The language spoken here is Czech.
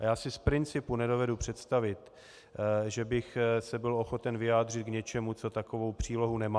A já si z principu nedovedu představit, že bych se byl ochoten vyjádřit k něčemu, co takovou přílohu nemá.